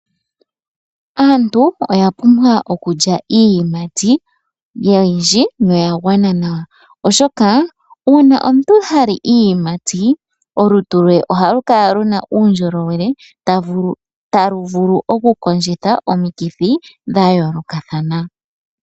Aantu oyapumbwa okulya iiyimati oyindji noyagwana nawa oshoka uuna omuntu hali iiyimati olutu lwe ohalukala luna uundjolowele taluvulu okukondjitha omikithi dha yoolokathana.